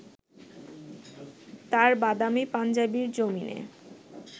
তাঁর বাদামি পাঞ্জাবির জমিনে